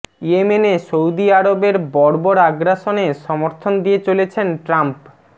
ইয়েমেনে সৌদি আরবের বর্বর আগ্রাসনে সমর্থন দিয়ে চলেছেন ট্রাম্প